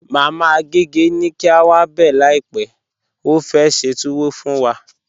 Mama Agẹgẹ ni kí a wá bẹ láípè, ó fẹ́ ṣẹ́ tùwọ̀ fún wà.